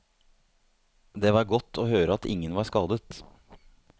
Det var godt å høre at ingen var skadet.